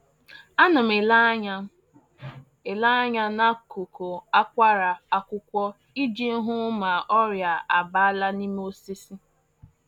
A na m ele anya m ele anya n’akụkụ akwara akwụkwọ iji hụ ma ọrịa abala n’ime osisi